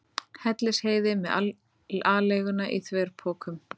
Hellisheiði með aleiguna í þverpokum.